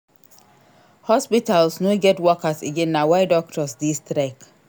Hospitals no get workers again na why doctors dey strike.